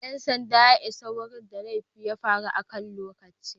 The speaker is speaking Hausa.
Dan sandan ya isa wurin da laifin ya faru akan lokaci.